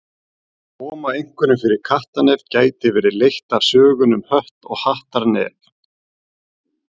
Að koma einhverjum fyrir kattarnef gæti verið leitt af sögunni um Hött og Hattar nef.